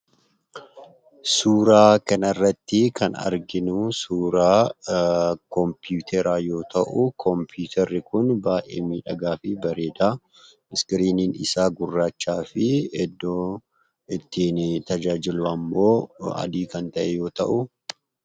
Suuraa kanarratti kan arginuu suuraa kompuuteraa yoo ta'u, kompuuterri kun baayyee miidhagaafi bareedaa iskiriiniin isaa gurraachafi iddoon ittiin tajaajillu ammoo adii kan ta'e yoo ta'uu.